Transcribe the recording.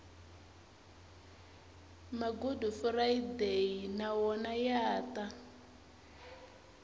magudufurayideyi na wona ya ta